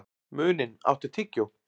Muninn, áttu tyggjó?